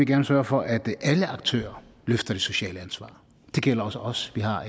gerne sørge for at alle aktører løfter det sociale ansvar det gælder også os vi har